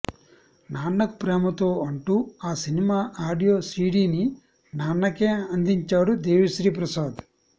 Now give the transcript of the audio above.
నాన్నకు ప్రేమతో అంటూ ఆ cinema audio సీడీని నాన్నకే అందించాడు దేవిశ్రీ ప్రసాద్